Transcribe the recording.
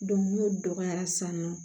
n'o dɔgɔyara san nɔ